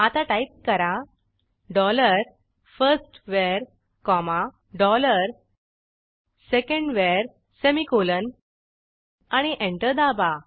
आता टाईप करा डॉलर फर्स्टवर कॉमा डॉलर सेकंडवर सेमिकोलॉन आणि एंटर दाबा